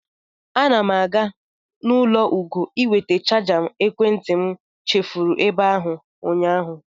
Ana m aga n'ụlọ Ugo ịweta chaja ekwentị m chefuru ebe ahụ ụnyaahụ.